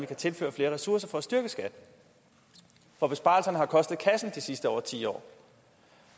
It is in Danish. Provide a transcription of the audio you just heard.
kan tilføres flere ressourcer for at styrke skat for besparelsen har kostet kassen de sidste over ti år